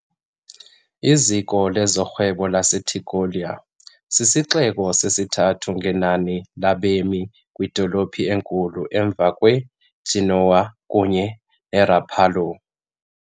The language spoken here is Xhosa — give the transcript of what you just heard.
Iziko lezorhwebo laseTigullio, sisixeko sesithathu ngenani labemi kwidolophu enkulu emva kweGenoa kunye neRapallo .